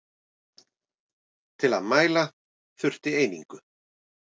Til að mæla þurfti einingu.